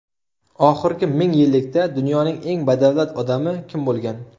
Oxirgi ming yillikda dunyoning eng badavlat odami kim bo‘lgan?